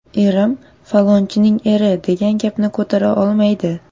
Erim ‘Falonchining eri’ degan gapni ko‘tara olmaydi.